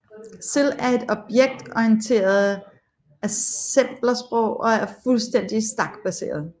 CIL er et objektorienteret assemblersprog og er fuldstændig stakbaseret